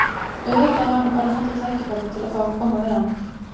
Auðvitað var hann bara að nota tækifærið til að fá að koma við hana.